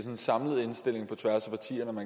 en samlet indstilling på tværs af partierne